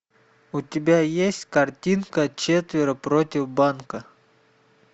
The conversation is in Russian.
у тебя есть картинка четверо против банка